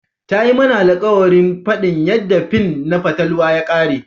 Ta yi mana alkawarin fadin yadda fin na fatalwa ta kare.